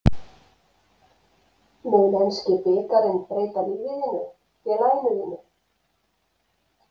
Mun enski bikarinn breyta lífi þínu, félaginu þínu?